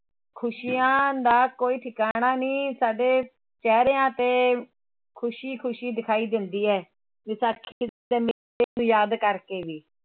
ਖ਼ੁਸ਼ੀਆਂ ਦਾ ਕੋਈ ਠਿਕਾਣਾ ਨਹੀਂ, ਸਾਡੇ ਚਿਹਰਿਆਂ ਤੇ ਖ਼ੁਸ਼ੀ ਖ਼ੁਸ਼ੀ ਦਿਖਾਈ ਦਿੰਦੀ ਹੈ, ਵਿਸਾਖੀ ਦੇ ਮੇਲੇ ਨੂੰ ਯਾਦ ਕਰਕੇ ਵੀ